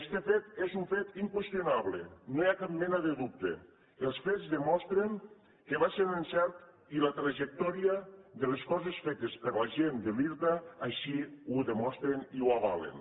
este fet és un fet inqüestionable no hi ha cap mena de dubte els fets demostren que va ser un encert i la trajectòria de les coses fetes per la gent de l’irta així ho demostren i ho avalen